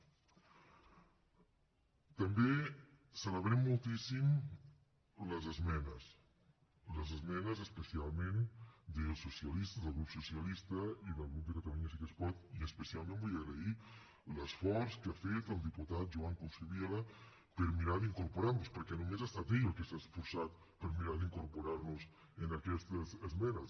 també celebrem moltíssim les esmenes les esmenes especialment dels socialistes del grup socialista i del grup de catalunya sí que es pot i especialment vull agrair l’esforç que ha fet el diputat joan coscubiela per mirar d’incorporar nos perquè només ha estat ell el qui s’ha esforçat per mirar d’incorporar nos en aquestes esmenes